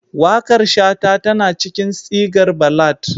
Waƙar Shata tana cikin sigar ballad